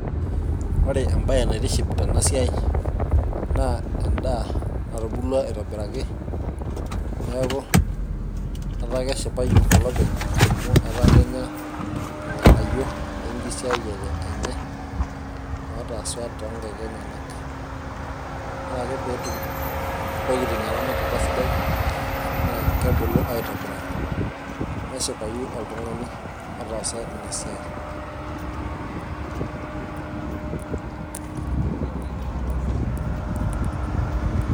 ore ebaae naitiship tena siai naa edaa natubulua aitobiraki, neeku etaa keshipayu olopeny. amu etaa kenya ilnganyio. lenkisayiare enye. otaasa toonkaik enyanak. ore ake pee etum intokitin eramatata sidai naa kebulu. aitobiraki, neshipayu oltungani otaasa ina siai